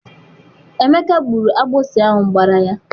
Emeka gburu agbụsị ahụ gbara ya.